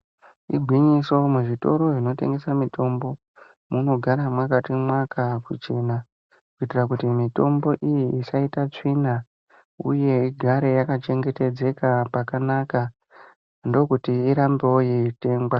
Igwinyiso muzvitoro zvinotengesa mitombo munogara mwakati mwaka kuchena kuitira kuti mitombo iyi isaite tsvina uye igare iripakanaka ndokuti irambewo yeitengwa.